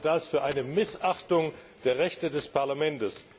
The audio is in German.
Ich halte das für eine Missachtung der Rechte des Parlaments.